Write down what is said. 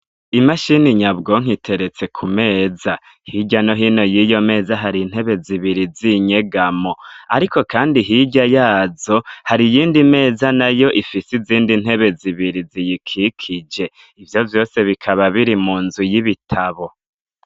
Imashini nyabwonko iteretse ku meza ; hirya no hino y'iyo meza hari intebe zibiri z'inyegamo; ariko kandi hirya yazo hari iyindi meza nayo ifise izindi ntebe zibiri ziyikikije. Ivyo vyose bikaba biri mu nzu y'ibitabo.